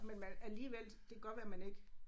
Men man alligevel det kan godt være man ikke